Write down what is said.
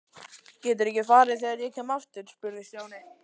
Geturðu ekki farið þegar ég kem aftur? spurði Stjáni.